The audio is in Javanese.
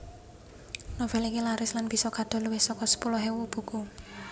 Novel iki laris lan bisa kadol luwih saka sepuluh ewu buku